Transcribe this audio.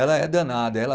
Ela é danada. Ela